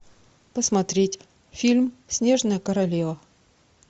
посмотреть фильм снежная королева